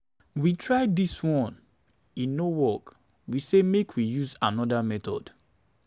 we try dis one e no work we say make we use another method.